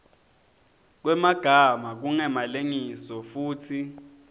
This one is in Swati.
kwemagama kungemalengiso futsi